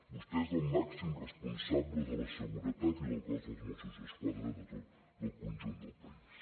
vostè és el màxim responsable de la seguretat i del cos de mossos d’esquadra del conjunt del país